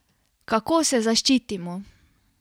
Kako se zaščitimo?